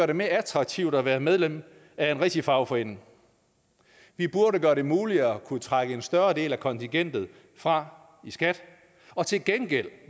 det mere attraktivt at være medlem af en rigtig fagforening vi burde gøre det muligt at kunne trække en større del af kontingentet fra i skat og til gengæld